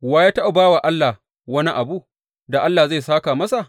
Wa ya taɓa ba wa Allah wani abu, da Allah zai sāka masa?